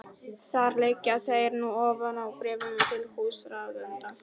Þar liggja þeir nú ofan á bréfinu til húsráðenda.